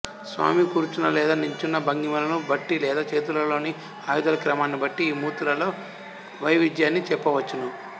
స్వామి కూర్చున్న లేదా నిలుచున్న భంగిమలను బట్టి లేదా చేతులలోని ఆయుధాల క్రమాన్ని బట్టి ఈ మూర్తులలో వైవిధ్యాన్ని చెప్పవచ్చును